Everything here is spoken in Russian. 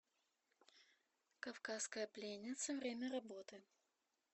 кавказская пленница время работы